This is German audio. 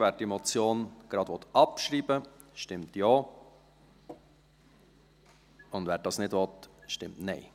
Wer diese Motion gleich abschreiben will, stimmt Ja, und wer das nicht will, stimmt Nein.